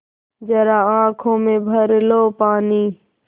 ज़रा आँख में भर लो पानी